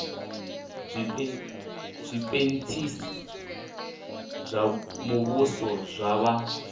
zwipentsisi zwa muvhuso zwa vha